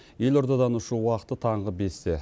елордадан ұшу уақыты таңғы бесте